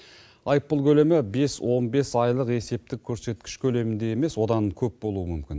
айыппұл көлемі бес он бес айлық есептік көрсеткіш көлемінде емес одан көп болуы мүмкін